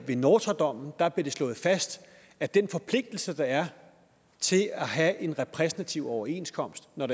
ved nortra dommen blev slået fast at den forpligtelse der er til at have en repræsentativ overenskomst når